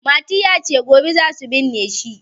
Mati ya ce "gobe za su binne shi".